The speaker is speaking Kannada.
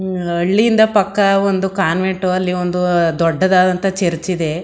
ಹೂಂ ಅಆ ಅಳ್ಳಿಯಿಂದ ಪಕ್ಕಾ ಒಂದು ಕಾನ್ವೆಂಟು ಅಲ್ಲಿ ಒಂದೂಅ ದೊಡ್ಡದಾದಂತ ಒಂದು ಚರ್ಚ್ ಇದೆ.